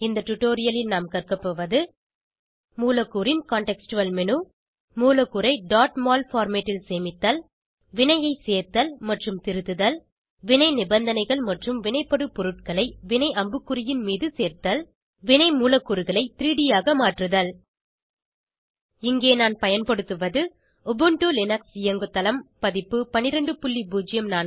இந்த டுடோரியலில் நாம் கற்க போவது மூலக்கூறின் சூழ்நிலைசார்ந்த மேனு மூலக்கூறை mol பார்மேட் ல் சேமித்தல் வினையை சேர்த்தல் மற்றும் திருத்துதல் வினை நிபந்தனைகள் மற்றும் வினைப்படுபொருள்களை வினை அம்புக்குறியின் மீது சேர்த்தல் வினை மூலக்கூறுகளை 3ட் ஆக மாற்றுதல் இங்கே நான் பயன்படுத்துவது உபுண்டு லினக்ஸ் இயங்குதளம் பதிப்பு 1204